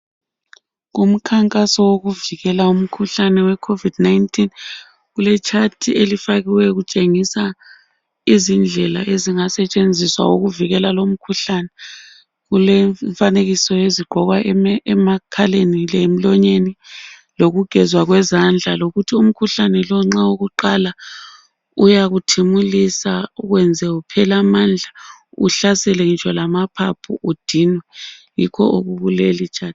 Kumkhankaso wokuvikela umkhuhlane weCovid 19.Kuletshathi elifakiweyo kutshengisa izindlela ezingenziwa ukuvikela lumkhuhlane. Kulomfanekiso wezingagqokwa ukuvikela amakhala kanye lomlomo. Lokugezwa kwezandla. Ukuthi umkhuhlane lo nxa ukuqala, uyakuthimulisa, ukwenze uphele amandla. Uhlasele kunye lamaphaphu, udinwe! Yikho okukulelitshathi.